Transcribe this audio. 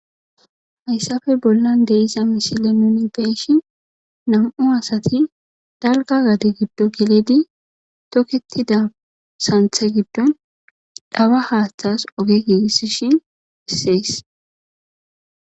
Hayssappe bollan de'iza misile nuni beeshi nam'u asati dalgga gadde giddon geledi tokettida santhe giddon dhawa haaththas ooge giigisishin beses